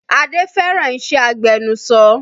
Adé fẹ́ràn iṣẹ́ agbẹnuṣọ